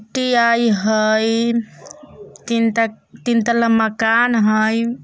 टी आइ हय तीन त तीन तल्ला मकान हय।